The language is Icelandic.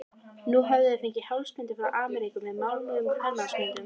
Nú höfðu þeir fengið hálsbindi frá Ameríku með máluðum kvenmannsmyndum.